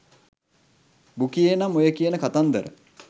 බුකියේ නම් ඔය කියන කතන්දර